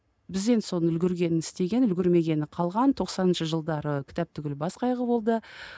біз енді соны үлгергені істеген үлгермегені қалған тоқсаныншы жылдары кітап түгілі бас қайғы болды